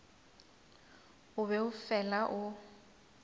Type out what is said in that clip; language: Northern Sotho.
o be o fela o